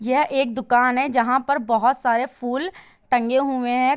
यह एक दुकान है जहाँ पर बहोत सारे फूल टंगे हुए है।